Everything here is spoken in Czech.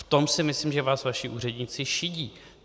V tom si myslím, že vás vaši úředníci šidí.